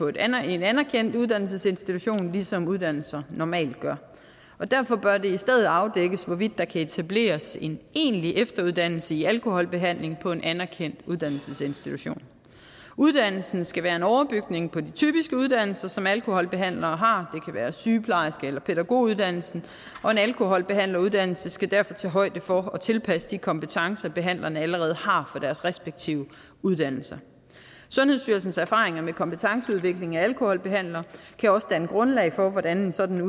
en anerkendt anerkendt uddannelsesinstitution ligesom uddannelser normalt gør og derfor bør det i stedet afdækkes hvorvidt der kan etableres en egentlig efteruddannelse i alkoholbehandling på en anerkendt uddannelsesinstitution uddannelsen skal være en overbygning på de typiske uddannelser som alkoholbehandlere har det være sygeplejerske eller pædagoguddannelsen og en alkoholbehandleruddannelse skal derfor tage højde for at tilpasse de kompetencer behandlerne allerede har fra deres respektive uddannelser sundhedsstyrelsens erfaringer med kompetenceudvikling af alkoholbehandlere kan også danne grundlag for hvordan en sådan